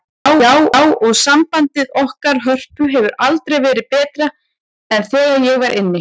Já, og sambandið okkar Hörpu hefur aldrei verið betra en þegar ég var inni.